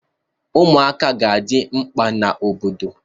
Ụmụaka ka ga-adị mkpa n'obodo.